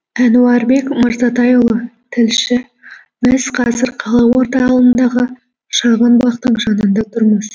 әнуарбек мырзатайұлы тілші біз қазір қала орталығындағы шағын бақтың жанында тұрмыз